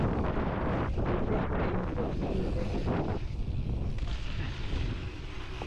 dem dey beg anybody wey get information to contact di police